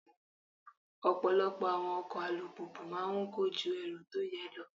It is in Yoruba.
Ọ̀pọ̀lọpọ̀ àwọn ọkọ̀ alùpùpù máa ń kọ́ ju èrò tó yẹ lọ.